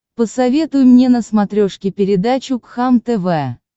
посоветуй мне на смотрешке передачу кхлм тв